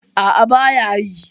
A'a ba ya yi.